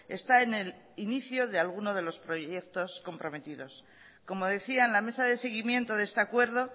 está en el inicio de alguno de los proyectos comprometidos como decía en la mesa de seguimiento de este acuerdo